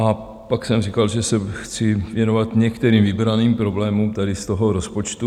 A pak jsem říkal, že se chci věnovat některým vybraným problémům tady z toho rozpočtu.